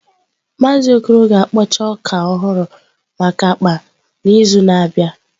Maazị Okoro ga-akpọcha ọka ọhụrụ maka akpa n'izu na-abịa.